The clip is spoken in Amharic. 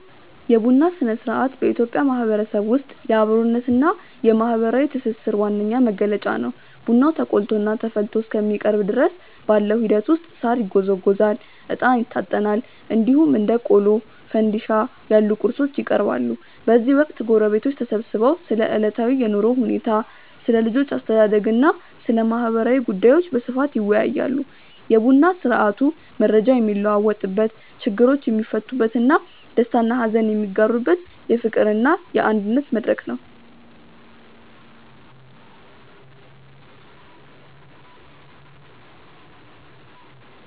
የቡና ሥነ-ሥርዓት በኢትዮጵያ ማህበረሰብ ውስጥ የአብሮነትና የማህበራዊ ትስስር ዋነኛ መገለጫ ነው። ቡናው ተቆልቶና ተፈልቶ እስከሚቀርብ ድረስ ባለው ሂደት ውስጥ ሳር ይጎዘጎዛል፣ እጣን ይታጠናል፣ እንዲሁም እንደ ቆሎና ፋንድሻ ያሉ ቁርሶች ይቀርባሉ። በዚህ ወቅት ጎረቤቶች ተሰብስበው ስለ ዕለታዊ የኑሮ ሁኔታ፣ ስለ ልጆች አስተዳደግና ስለ ማህበራዊ ጉዳዮች በስፋት ይወያያሉ። የቡና ስርአቱ መረጃ የሚለዋወጥበት፣ ችግሮች የሚፈቱበትና ደስታና ሀዘን የሚጋሩበት የፍቅርና የአንድነት መድረክ ነው።